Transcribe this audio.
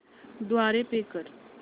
द्वारे पे कर